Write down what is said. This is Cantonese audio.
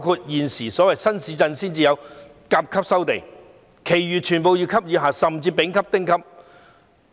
現時只有所謂新市鎮土地才能夠以甲級的價錢收購，其餘皆為乙級以下，甚至是丙級和丁級。